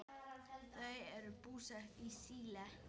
Þau eru búsett í Síle.